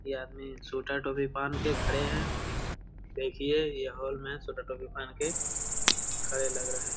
यह आदमी छोटा टोपी पहन के खड़े है देखिए यह हॉल में छोटा टोपी पहन के खड़े लग रहे है।